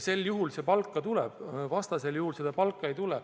Sel juhul see palk tuleb, vastasel juhul seda palka ei tule.